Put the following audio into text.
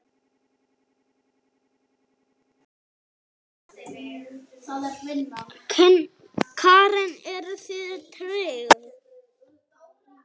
Karen: Eruð þið tryggð?